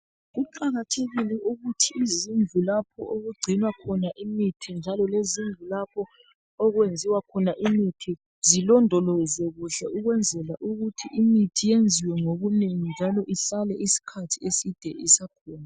Kuqakathekile ukuthi izindlu lapho okugcinwa khona imithi njalo lezindlu lapho okwenziwa khona imithi zolondolozwe kuhle ukwenzela ukuthi imithi yenziwe ngobunene njalo ihlale isikhathi eside isakhona.